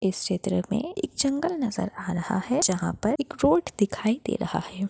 इस चित्र मे एक जंगल नजर आ रहा हैं जहाँ पर एक रोड दिखाई दे रहा हैं।